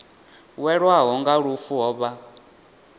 welwaho nga lufu ho vha